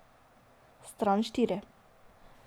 Stran štiri ...